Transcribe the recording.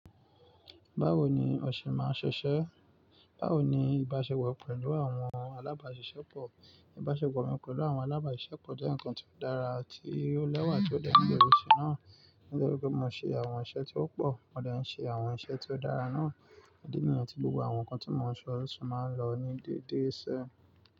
Báwo ni ọ ṣe máa ń ṣiṣẹ́? Báwo ni ìbáṣepọ̀ pẹ̀lú àwọn alábàáṣiṣẹ́ pọ̀? Ìbáṣepọ̀ mi pẹ̀lú àwọn alábàáṣiṣẹ́ pọ̀ jẹ́ ǹnkan ti ó dára ti o lẹ́wà tí ó de mí níbi iṣẹ́ náà. Nítorí pé mo ń ṣe àwọn iṣẹ́ tí ó pọ̀, mo de ń ṣe àwọn iṣẹ́ tí ó dára náà. Idi niyẹn tí gbogbo àwọn nǹkan tí mo ń ṣe olóṣù máa ń lọ ní déédéé sẹ́.